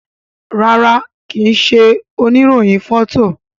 ràrá ki ṣe òní rohin Fọto.